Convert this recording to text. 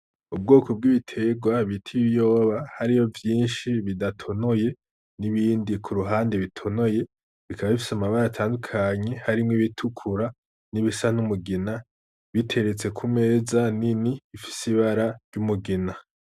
Ubwoko bw'ibiterwa bita ibiyoba hariyo vyinshi bidatonoye n'ibindi kuruhande bitonoye bikaba bifise amabara atandukanye harimwo ibitukura n'ibisa n'umugina biteretse kumeza nini bifise ibara ry'umugina.